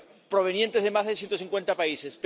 provenientes de más de ciento cincuenta países.